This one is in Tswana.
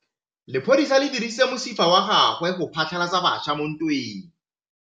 Lepodisa le dirisitse mosifa wa gagwe go phatlalatsa batšha mo ntweng.